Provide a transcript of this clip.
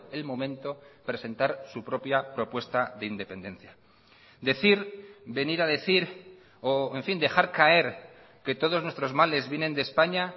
el momento presentar su propia propuesta de independencia decir venir a decir o en fin dejar caer que todos nuestros males vienen de españa